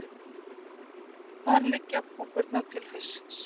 Þar liggja púpurnar til haustsins.